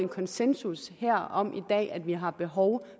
konsensus om at vi har behov